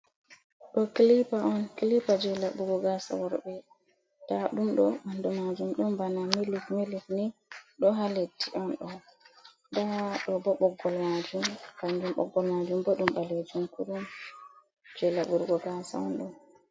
Ɗo klipa on: Klipa je laɓugo gasa worɓe. Nda ɗum ɗo ɓandu majum ɗon bana milik milik ni ɗo ha leddi on ɗo. Nda ɗo bo ɓoggol majum kanjum ɓoggol majum bo ɗum ɓalejum kurum. Je laɓɓurgo gasa onɗo.